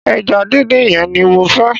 Eja díndín yen ni mo fe